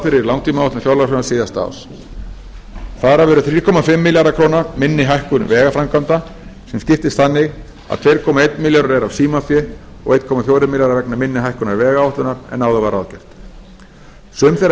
fyrir í langtímaáætlun fjárlagafrumvarps síðasta árs þar af eru þrjú komma fimm milljarðar króna minni hækkun vegaframkvæmda sem skiptist þannig að tvö komma einn milljarður eru af símafé og einn komma fjórir milljarðar vegna minni hækkunar vegáætlunar en áður var ráðgert sum þeirra